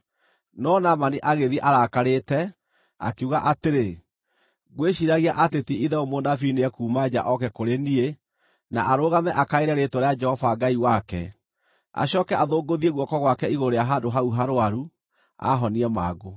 No Naamani agĩthiĩ arakarĩte, akiuga atĩrĩ, “Ngwĩciiragia atĩ ti-itherũ mũnabii nĩekuuma nja oke kũrĩ niĩ, na arũgame akaĩre rĩĩtwa rĩa Jehova Ngai wake, acooke athũngũthie guoko gwake igũrũ rĩa handũ hau harũaru, aahonie mangũ.